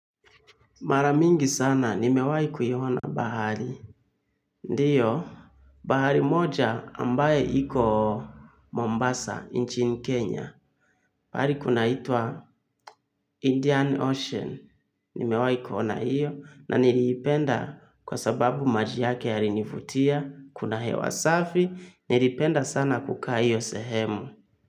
Mara mingi sana, nimewahi kuiona bahari. Ndiyo, bahari moja ambaye iko Mombasa, nchini Kenya. Mahari kunaitwa Indian Ocean. Nimewahi kuona hiyo, na niliipenda kwa sababu maji yake yalinivutia, kuna hewa safi, nilipenda sana kukaa hiyo sehemu.